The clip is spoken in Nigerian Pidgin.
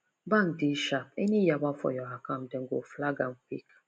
bank dey sharp any yawa for your account dem go flag am quick